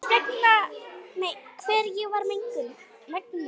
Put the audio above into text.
Hvers ég var megnug.